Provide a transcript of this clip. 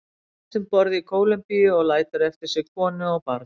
Hann lést um borð í Kólumbíu og lætur eftir sig konu og barn.